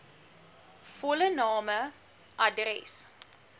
volle name adres